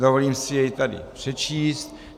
Dovolím si jej tady přečíst.